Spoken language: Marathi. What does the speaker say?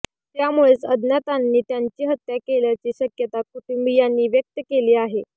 त्यामुळेच अज्ञातांनी त्यांची हत्या केल्याची शक्यता कुटुंबीयांनी व्यक्त केली आहे